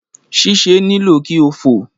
Sisẹ nilo ki o fo